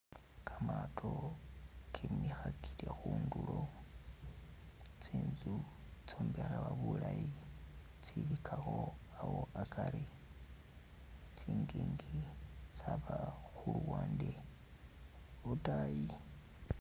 Kamaato kemikhakile khundulo, tsinzu itsombekhebwa bulayi tsilikho awo akari, tsingingi tsaba khuluwande lwotayi.